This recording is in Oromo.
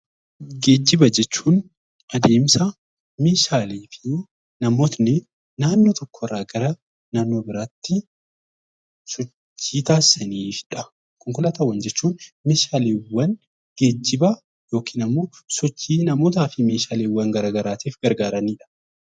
Geejjiba jechuun adeemsa meeshaalee fi namoonni bakka tokkorraa naannoo biraatti sochii taasisanii fi konkolaataa jechuun meeshaalee geejjiba yookiin sochii meeshaalee fi namoota garaagaraatiif kan fayyadanidha.